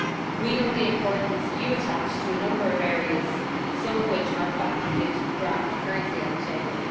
We know the importance you attach to a number of areas, some of which are factored into the draft currently on the table.